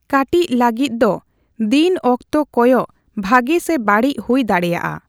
ᱠᱟᱴᱤᱪ ᱞᱟᱹᱜᱤᱫ ᱫᱚ, ᱫᱤᱱ ᱚᱠᱛᱚ ᱠᱚᱭᱚᱜ ᱵᱷᱟᱹᱜᱤ ᱥᱮ ᱵᱟᱹᱲᱤᱡ ᱦᱩᱭ ᱫᱟᱲᱽᱮᱭᱟᱜᱼᱟ ᱾